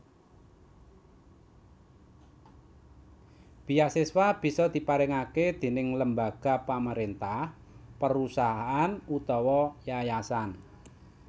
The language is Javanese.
Beasiswa bisa diparingake déning lembaga pamrentah perusahaan utawa yayasan